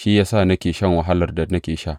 Shi ya sa nake shan wahalar da nake sha.